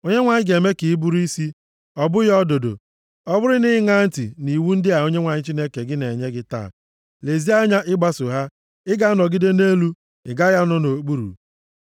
Onyenwe anyị ga-eme ka ị bụrụ isi, ọ bụghị ọdụdụ. Ọ bụrụ na ị ṅaa ntị nʼiwu ndị a Onyenwe anyị Chineke gị na-enye gị taa, lezie anya ịgbaso ha, ị ga-anọgide nʼelu, ị gaghị anọ nʼokpuru.